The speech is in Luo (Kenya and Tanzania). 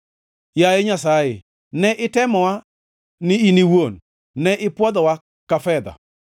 Yaye Nyasaye ne itemowa ni in iwuon; ne ipwodhowa ka fedha.